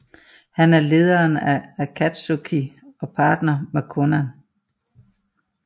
Han er lederen af Akatsuki og partner med Konan